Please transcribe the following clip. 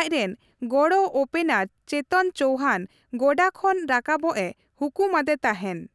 ᱟᱡ ᱨᱮᱱ ᱜᱚᱲᱚ ᱳᱯᱮᱱᱟᱨ ᱪᱮᱛᱚᱱ ᱪᱳᱣᱦᱟᱱ ᱜᱚᱰᱟ ᱠᱷᱚᱱ ᱨᱟᱠᱟᱵᱚᱜᱼᱮ ᱦᱩᱠᱩᱢ ᱟᱫᱮ ᱛᱟᱦᱮᱱ ᱾